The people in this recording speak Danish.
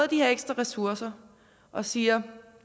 de her ekstra ressourcer og siger